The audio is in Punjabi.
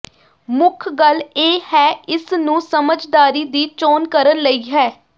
ਮੁੱਖ ਗੱਲ ਇਹ ਹੈ ਇਸ ਨੂੰ ਸਮਝਦਾਰੀ ਦੀ ਚੋਣ ਕਰਨ ਲਈ ਹੈ